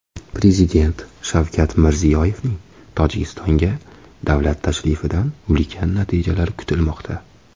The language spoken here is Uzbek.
Prezident Shavkat Mirziyoyevning Tojikistonga davlat tashrifidan ulkan natijalar kutilmoqda.